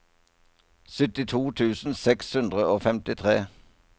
syttito tusen seks hundre og femtitre